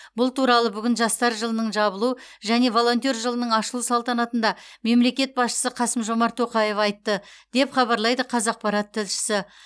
бұл туралы бүгін жастар жылының жабылу және волонтер жылының ашылу салтанатында мемлекет басшысы қасым жомарт тоқаев айтты деп хабарлайды қазақпарат тілшісі